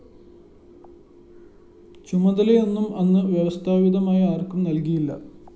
ചുമതലയൊന്നും അന്ന് വ്യവസ്ഥാപിതമായി ആര്‍ക്കും നല്‍കിയില്ല